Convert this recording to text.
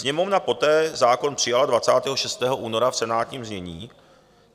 Sněmovna poté zákon přijala 26. února v senátním znění.